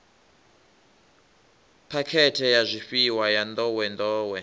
phakhethe ya zwifhiwa ya nḓowenḓowe